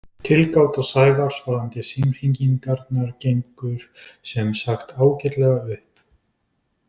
Tilgáta Sævars varðandi símhringingarnar gengur sem sagt ágætlega upp.